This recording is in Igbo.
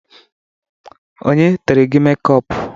Onye tere gị mekọpu?